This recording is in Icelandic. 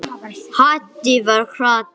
Haddi var krati.